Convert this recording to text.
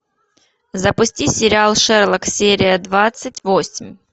запусти сериал шерлок серия двадцать восемь